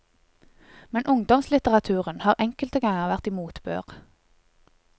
Men ungdomslitteraturen har enkelte ganger vært i motbør.